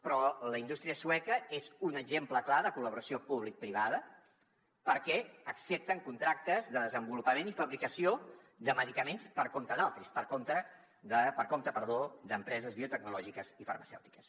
però la indústria sueca és un exemple clar de col·laboració publicoprivada perquè accepten contractes de desenvolupament i fabricació de medicaments per compte d’altri per compte d’empreses biotecnològiques i farmacèutiques